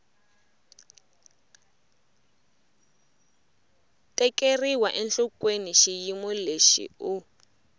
tekeriwa enhlokweni xiyimo lexi u